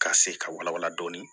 K'a se ka wala wala